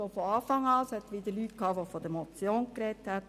Trotzdem hat es Leute gegeben, die von einer Motion gesprochen haben.